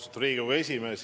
Austatud Riigikogu esimees!